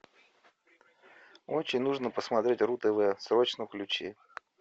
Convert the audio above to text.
очень нужно посмотреть ру тв срочно включи